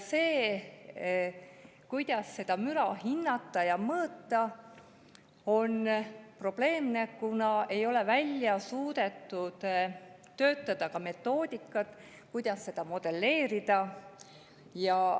See, kuidas seda müra hinnata ja mõõta, on probleemne, kuna ei ole suudetud välja töötada metoodikat, kuidas seda modelleerida.